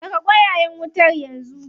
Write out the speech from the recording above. Saka ƙwayayen wutar yanzu.